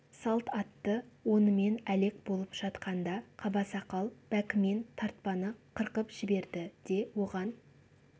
салт атты онымен әлек болып жатқанда қабасақал бәкімен тартпаны қырқып жіберді де оған